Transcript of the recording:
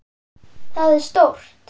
Það er stórt.